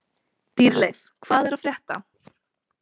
Dýrleif, hvað er að frétta?